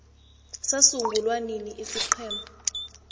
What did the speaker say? sasungulwa nini isiqhema